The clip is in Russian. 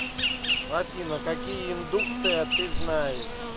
афина какие индукция ты знаешь